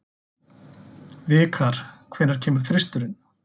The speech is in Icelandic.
Vikar, hvenær kemur þristurinn?